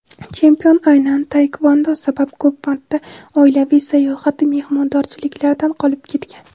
chempion aynan taekvondo sabab ko‘p marta oilaviy sayohat-u mehmondorchiliklardan qolib ketgan.